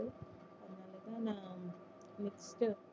அதனால தான் நான்